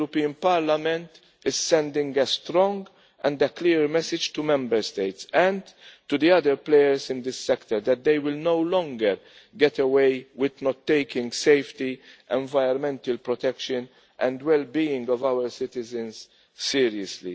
The European Parliament is sending a strong and clear message to Member States, and to the other players in the sector, that they will no longer get away with not taking safety, environmental protection and the wellbeing of our citizens seriously.